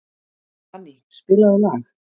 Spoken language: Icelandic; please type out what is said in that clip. Fanny, spilaðu lag.